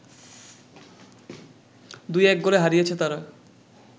২-১ গোলে হারিয়েছে তারা